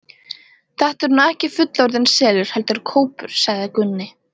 Þetta er nú ekki fullorðinn selur, heldur kópur, sagði Gunni.